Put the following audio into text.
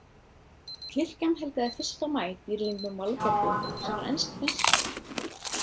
Kirkjan helgaði fyrsta maí dýrlingnum Valborgu sem var ensk prinsessa.